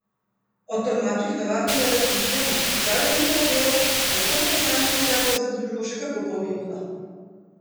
O tolmačih navadno ne razmišljamo, čeprav je njihovo delo tako za posameznika kot za družbo še kako pomembno!